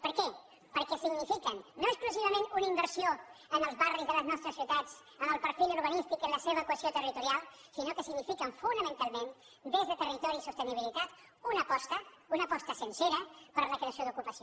per què perquè signifiquen no exclusivament una inversió en els barris de les nostres ciutats en el perfil urbanístic en la seva equació territorial sinó que signifiquen fonamentalment des de territori i sostenibilitat una aposta una aposta sincera per la creació d’ocupació